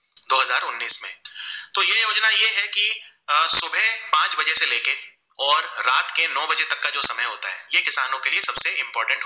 और रात के नो बजे तक का जो समय होता है ये किशानो के लिए सबसे important